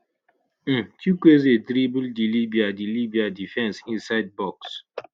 um chukwueze dribble di libya di libya defence inside box